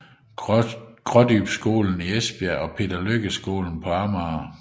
Grådybskolen i Esbjerg og Peder Lykke Skolen på Amager